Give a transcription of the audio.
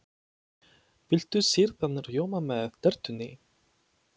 Viltu sýrðan rjóma með tertunni?